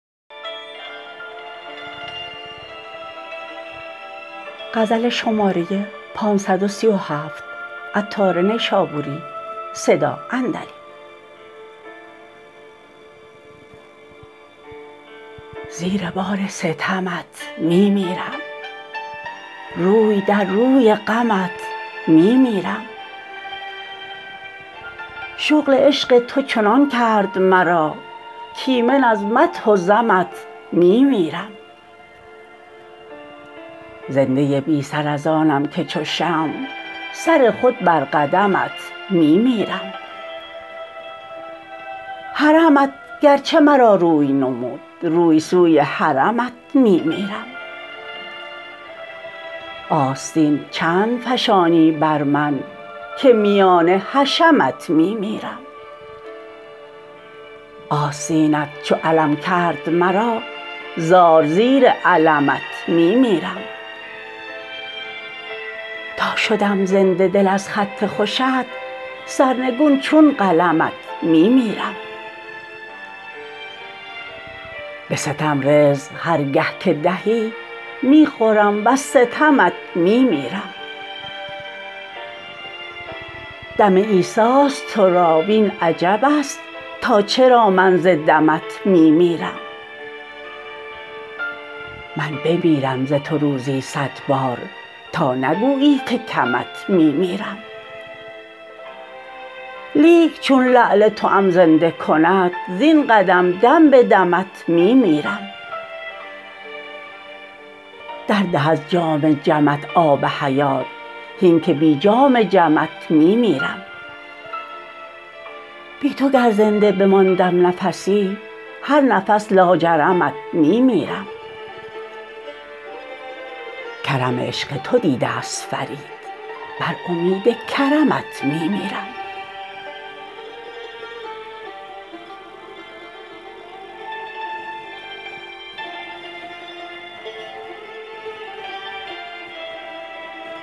زیر بار ستمت می میرم روی در روی غمت می میرم شغل عشق تو چنان کرد مرا کایمن از مدح و ذمت می میرم زنده بی سر از آنم که چو شمع سر خود بر قدمت می میرم حرمت گرچه مرا روی نمود روی سوی حرمت می میرم آستین چند فشانی بر من که میان حشمت می میرم آستینت چو علم کرد مرا زار زیر علمت می میرم تا شدم زنده دل از خط خوشت سرنگون چون قلمت می میرم به ستم رزق هرگه که دهی می خورم وز ستمت می میرم دم عیسی است تورا وین عجب است تا چرا من ز دمت می میرم من بمیرم ز تو روزی صد بار تا نگویی که کمت می میرم لیک چون لعل توام زنده کند زین قدم دم به دمت می میرم درده از جام جمت آب حیات هین که بی جام جمت می میرم بی تو گر زنده بماندم نفسی هر نفس لاجرمت می میرم کرم عشق تو دیده است فرید بر امید کرمت می میرم